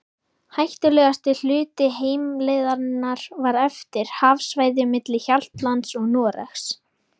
Hættulegasti hluti heimleiðarinnar var eftir, hafsvæðið milli Hjaltlands og Noregs.